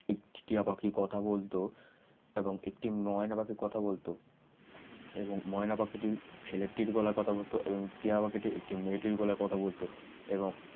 টিয়া পাখি কথা বলতো এবং একটি ময়না পাখি কথা বলতো এবং ময়না পাখি ছেলেটির হলে কথা বলতে এবং টিয়া পাখিটি একটি মেয়েটির গলায় কথা বলতো এবং